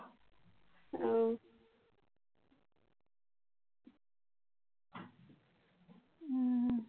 উহ উহ